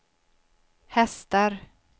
hästar